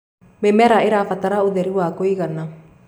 mĩmera iirabatara ũtheri wa kũigana